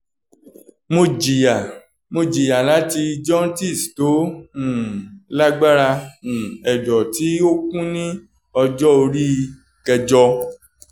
mo jiya mo jiya lati jaundice to um lagbara um ẹdọ ti o kun ni ọjọ ori kẹjọ.